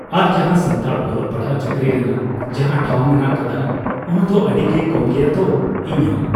ᱟᱨ ᱡᱟᱦᱟᱸ ᱥᱟᱱᱛᱟᱲ ᱚᱞᱚᱜ ᱯᱟᱲᱟᱦᱟᱜ ᱪᱟᱹᱠᱨᱤ ᱨᱮᱱᱟᱜ ᱡᱟᱦᱟᱸ ᱴᱷᱟᱹᱣ ᱢᱮᱱᱟᱜ ᱟᱠᱟᱫᱟ ᱚᱱᱟᱫᱚ ᱟᱹᱰᱤᱜᱮ ᱠᱚᱢᱜᱮᱭᱟ ᱛᱚ ᱤᱧᱦᱚᱸ